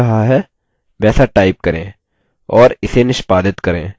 और इसे निष्पादित execute करें